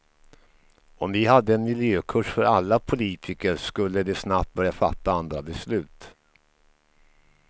Om vi hade en miljökurs för alla politiker, skulle de snabbt börja fatta andra beslut.